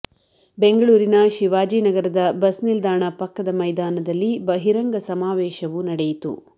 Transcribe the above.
ಬೆಂಗಳೂರಿನ ಶಿವಾಜಿನಗರದ ಬಸ್ ನಿಲ್ದಾಣ ಪಕ್ಕದ ಮೈದಾನದಲ್ಲಿ ಬಹಿರಂಗ ಸಮಾವೇಶವು ನಡೆಯಿತು